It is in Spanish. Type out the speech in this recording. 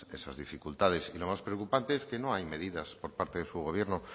esas dificultades y lo más preocupante es que no hay medidas por parte de su gobierno